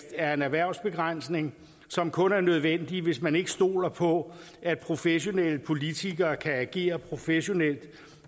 er en erhvervsbegrænsning som kun er nødvendig hvis man ikke stoler på at professionelle politikere kan agere professionelt